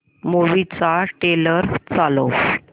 movie चा trailer चालव